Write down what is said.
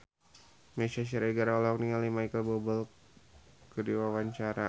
Meisya Siregar olohok ningali Micheal Bubble keur diwawancara